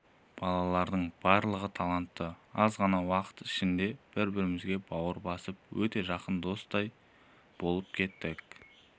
балалардың барлығы талантты аз ғана уақыттың ішінде бір-бірімізге бауыр басып өте жақын достардай болып кеттік